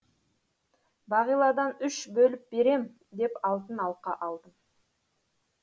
бағиладан үш бөліп берем деп алтын алқа алдым